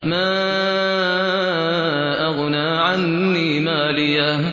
مَا أَغْنَىٰ عَنِّي مَالِيَهْ ۜ